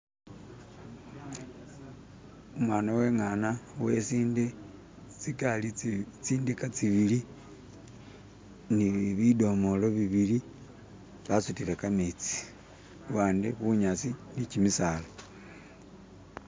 Umwana we'ngana, wesinde, tsindika tsibili ne bidomola bibili basutile kametsi, abandi bunyasi ne kimisala.